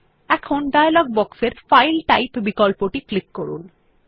এখন ডায়লগ বক্সের file type বিকল্পটি ক্লিক করুন